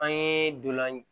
An ye dolan